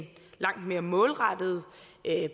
langt mere målrettet